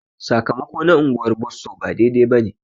Sakamako na unguwar Bosso ba daidai bane.